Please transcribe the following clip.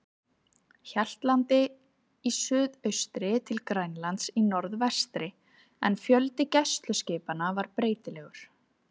Hjaltlandi í suðaustri til Grænlands í norðvestri, en fjöldi gæsluskipanna var breytilegur.